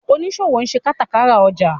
oniṣòwo nṣe katakara ọjà.